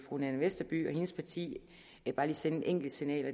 fru nanna westerby og hendes parti sende et enkelt signal og